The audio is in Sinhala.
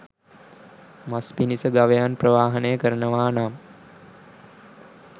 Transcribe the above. මස් පිණිස ගවයන් ප්‍රවාහනය කරනවා නම්